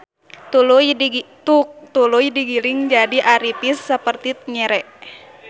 Tuluy digiling jadi aripis saperti nyere.